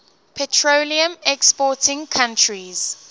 petroleum exporting countries